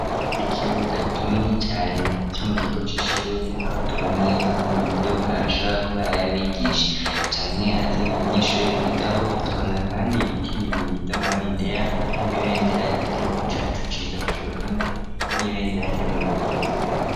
Ikibuga kinini cane co mu kigo c'ishure aho tubonayo ama modoka ashobora kuba ari ayabigisha canke azanye abanyeshure biga aho tukabona kandi ibiti bibiri vy'amabendera hari nirindi ryigihugu cacu ciza cu Burundi n'ibendera ryo mu bihugu bigari.